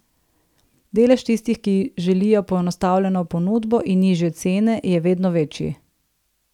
Delež tistih, ki želijo poenostavljeno ponudbo in nižje cene, je vedno večji.